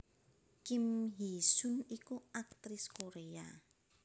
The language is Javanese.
Kim Hee sun iku aktris Korea